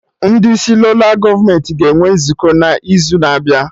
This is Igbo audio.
Ndị isi ndị Lola gọọmenti ga-enwe nzukọ n'izu na-abịa